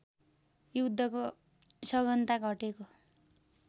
युद्धको सघनता घटेको